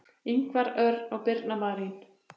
Ingvar Örn og Birna Marín.